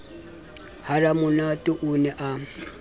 ha ramonate o ne a